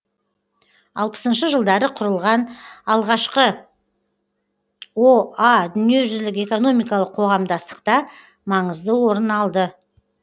алпысыншы жылдары құрылған алғашқы о а дүниежүзілік экономикалық қоғамдастықта маңызды орын алды